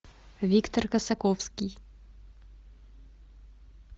виктор косаковский